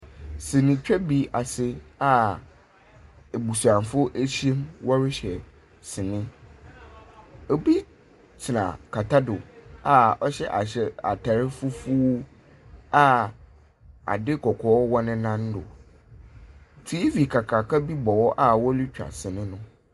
Sinitwa bi ase a ebusuafo ehyia mu wɔrehwɛ sini. Obi tsena kɛtɛ do a ɔhyɛ ahyɛ atar fufuw a adze kɔkɔɔ wɔ ne nan do. TV kakraka bi bɔ hɔ a worutwa sini do.